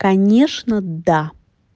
конечно да